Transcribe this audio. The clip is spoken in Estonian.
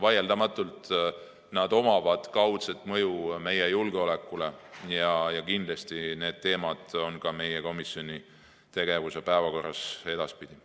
Vaieldamatult on neil kaudne mõju meie julgeolekule ja kindlasti on need teemad meie komisjoni tegevuse päevakorras ka edaspidi.